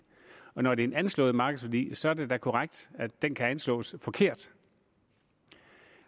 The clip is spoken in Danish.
og når det er en anslået markedsværdi så er det da korrekt at den kan anslås forkert